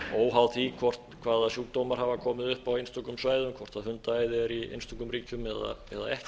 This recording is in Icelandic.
óháð því hvaða sjúkdómar hafa komið upp á einstökum svæðum hvort hundaæði er í einstökum ríkjum eða ekki